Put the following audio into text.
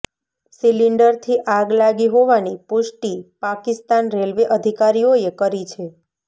સિલિન્ડરથી આગ લાગી હોવાની પુષ્ટિ પાકિસ્તાન રેલવે અધિકારીઓએ કરી છે